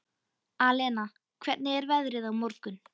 Alena, hvernig er veðrið á morgun?